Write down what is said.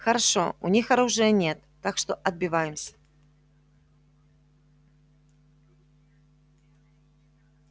хорошо у них оружия нет так что отбиваемся